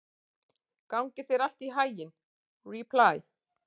Gangi þér allt í haginn, Ripley.